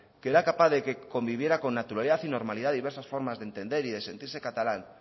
que era capaz de que conviviera con naturalidad y normalidad diversas formas de entender y de sentirse catalán